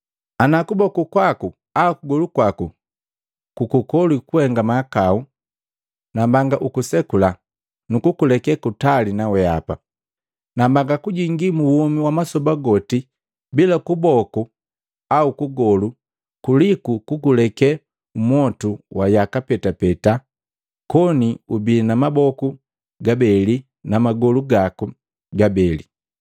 “Ana kuboku kwaku au kugolu kwaku kukukolwi kuhenga mahakau, nambanga ukusekula nukukuleke kutali naweapa. Nambanga kujingi mu womi wa masoba goti bila kuboku au kugolu kuliku kukuleke mmwotu wa yaka petapeta koni ubii na maboku gabeli na magolu gaku gabeli.